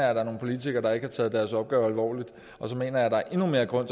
er nogle politikere der ikke har taget deres opgave alvorligt og så mener jeg der er endnu mere grund